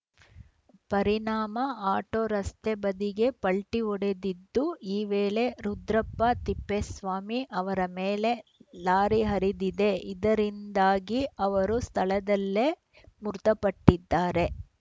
ಪರಿಣಾಮ ಆಟೋ ರಸ್ತೆ ಬದಿಗೆ ಪಲ್ಟಿಹೊಡೆದಿದ್ದು ಈ ವೇಳೆ ರುದ್ರಪ್ಪ ತಿಪ್ಪೇಸ್ವಾಮಿ ಅವರ ಮೇಲೆ ಲಾರಿ ಹರಿದಿದೆ ಇದರಿಂದಾಗಿ ಅವರು ಸ್ಥಳದಲ್ಲೇ ಮೃತಪಟ್ಟಿದ್ದಾರೆ